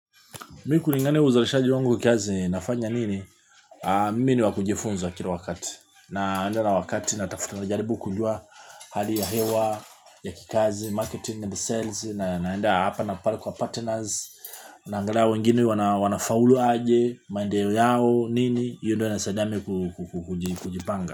Mi kulingani uzalishaji wangu kiazi nafanya nini? Mimini wakujifunza kila wakati. Naenda na wakati na tafutu na jaribu kujua hali ya hewa, ya kikazi, marketing and sales. Naenda hapa na pala kwa partners. Naangalia wengine wanafaulu aje, maendeleo yao, nini? Hiyo ndo humnisaidia mimii kujipanga.